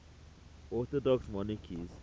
orthodox monarchs